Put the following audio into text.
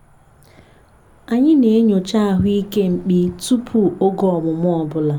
anyị na-enyocha ahụike mkpi tupu oge ọmụmụ ọ bụla.